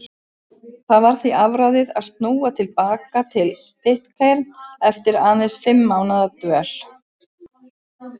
Það var því afráðið að snúa til baka til Pitcairn eftir aðeins fimm mánaða dvöl.